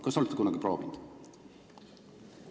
Kas te olete kunagi proovinud?